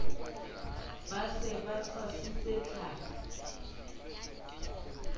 ba se ba tshwasitse tlhapi